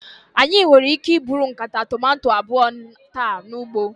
Anyị nwere ike iburu nkata tomato abụọ taa n'ugbo.